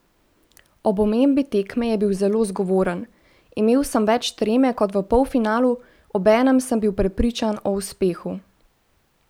Ob omembi tekme je bil zelo zgovoren: "Imel sem več treme kot v polfinalu, obenem sem bil prepričan o uspehu.